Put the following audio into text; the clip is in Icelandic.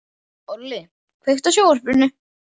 Olli, kveiktu á sjónvarpinu.